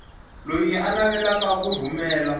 loyi a navelaka ku rhumela